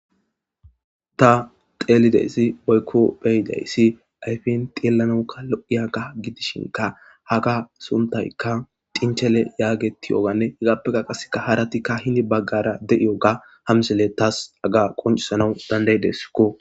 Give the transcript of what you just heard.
Ta xeelideyssi boykko beyidayssi ayfin xillanaukka lo7iyaga gidishinka haga suntaykka cinchele yaagetiyooganne higappeka qaseka haratikka hini baggara de7iyo ga hamselle taas aga qoncisanau dandaydesko.